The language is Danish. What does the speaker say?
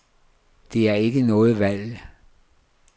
Der er ikke noget valg.